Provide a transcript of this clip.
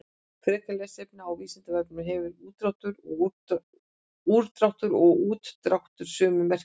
Frekara lesefni á Vísindavefnum: Hefur úrdráttur og útdráttur sömu merkingu?